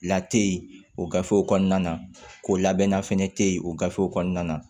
Late o gafew kɔnɔna na o labɛnna fɛnɛ tɛ ye o gafew kɔnɔna na